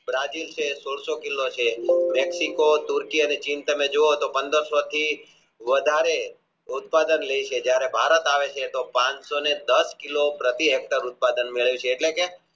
બ્રાજીલ છે એ સોળસો કિલો છે વ્યક્તિત્વ તૃતિય અને ચિંતાને જુઓ તો પંદરસો થી વધારે લેય છે જયારે ભારત આવે છે તો પાનસો દાસ કિલો પ્રતિ Hector ઉત્પાદન મળે છે એટલે કે